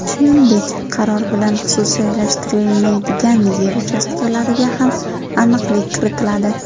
Shuningdek, qaror bilan xususiylashtirilmaydigan yer uchastkalariga ham aniqlik kiritiladi.